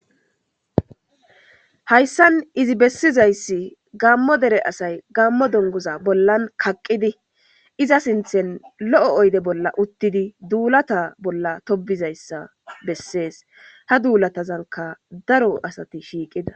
Hayssan izi bessizayssi gammo dere asay gammo dongoza bollan kaqqidi iza sinthen lo'o oyde bolla uttidi duulata bolla tobizayssa bessees ha duulatazanka daro asati shiiqida.